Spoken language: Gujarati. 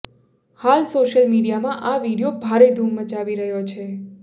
હાલ સોશ્યલ મીડિયામાં આ વીડિયો ભારે ધૂમ મચાવી રહ્યો છે